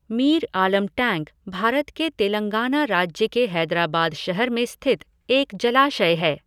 Mir Alam tank Bharat के तेलंगाना राज्य के हैदराबाद शहर में स्थित एक जलाशय है।